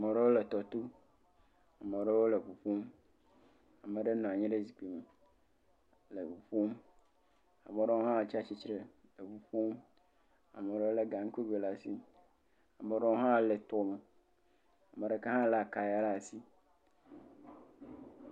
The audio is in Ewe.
Ama ɖewo le tɔto ame ɖewo le ŋu kum ame ɖewo nɔ anyi ɖe zikpui me le ŋu ƒom, ame ɖewo hã tsi atsitre le nu kpɔm, ame ɖewo lé ga ŋku eve ɖe asi ame ɖewo hã le tome, ame ɖeka hã lé akaya ɖe asi.